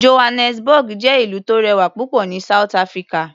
Johannesburg jẹ́ ìlú tó rẹwà púpọ̀ ní South Africa.